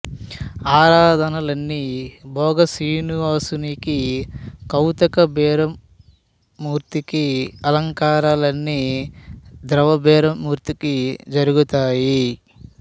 ఆరాధనలన్నీ భోగ శ్రీనివాసునికి కౌతుక బేరం మూర్తికి అలంకరణలన్నీ ధ్రువబేరం మూర్తికి జరుగుతాయి